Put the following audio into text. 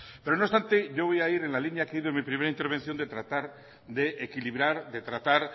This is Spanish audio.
pero no obstante yo voy a ir en la línea que he ido en mi primera intervención de tratar de equilibrar de tratar